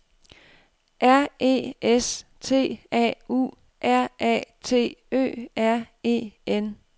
R E S T A U R A T Ø R E N